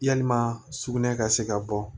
Yalima sugunɛ ka se ka bɔ